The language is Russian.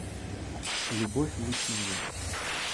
любовь лучинина